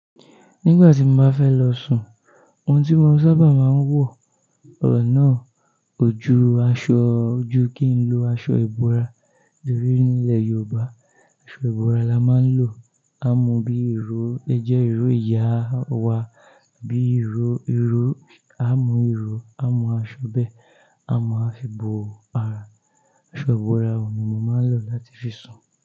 Nígbà tí mo bá fẹ́ lọ sùn, ohun tí mo sábà máa ń wọ̀ náà, ò ju aṣọ, ò ju kí n lo aṣọ ìbora, nítorí nílẹ̀ Yorùbá aṣọ ìbora la máa ń lò. Á mú bí i ìró, ó lè jẹ́ ìro ìyá wa, bíi ìró, ìró, a mú ìró, a mú aṣọ bẹ́ẹ̀, a máa fi bo ara. Aṣọ ìbora òun ni mo máa ń lò láti fi sùn.